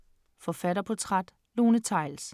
Forfatterportræt: Lone Theils